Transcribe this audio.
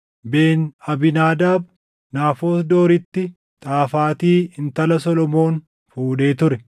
Ben-Abiinaadaab, Naafoot Dooritti Xaafati intala Solomoon fuudhee ture;